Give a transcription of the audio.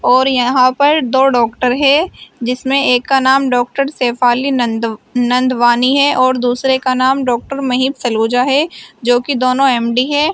और यहां पर दो डॉक्टर है जिसमें एक का नाम डॉक्टर शेफाली नंदू नंदवानी है और दूसरे का नाम डॉक्टर महेश सलूजा है जो कि दोनों एम_डी है।